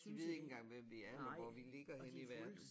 De ved ikke engang hvem vi er eller hvor vi ligger henne i verden